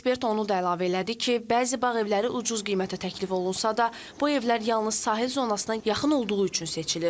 Ekspert onu da əlavə elədi ki, bəzi bağ evləri ucuz qiymətə təklif olunsa da, bu evlər yalnız sahil zonasına yaxın olduğu üçün seçilir.